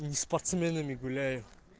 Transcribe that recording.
мм спортсменами гуляю